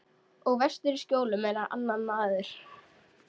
Og vestur í Skjólum er hann enn annar maður.